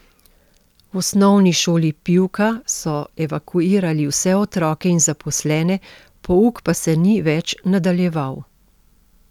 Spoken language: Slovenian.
V Osnovni šoli Pivka so evakuirali vse otroke in zaposlene, pouk pa se ni več nadaljeval.